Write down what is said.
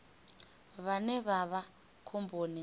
vhane vha vha khomboni nga